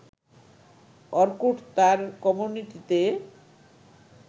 Orkut তার কমিউনিটিতে